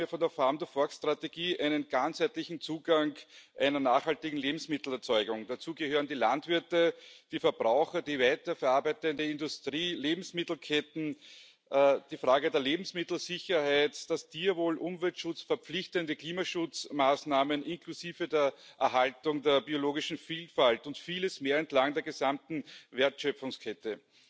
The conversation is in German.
Ich erwarte mir von der Strategie einen ganzheitlichen Zugang zu einer nachhaltigen Lebensmittelerzeugung. Dazu gehören die Landwirte, die Verbraucher, die weiterverarbeitende Industrie, Lebensmittelketten, die Frage der Lebensmittelsicherheit, das Tierwohl, Umweltschutz, verpflichtende Klimaschutzmaßnahmen inklusive der Erhaltung der biologischen Vielfalt und vieles mehr entlang der gesamten Wertschöpfungskette.